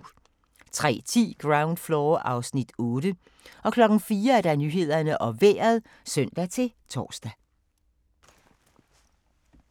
03:10: Ground Floor (Afs. 8) 04:00: Nyhederne og Vejret (søn-tor)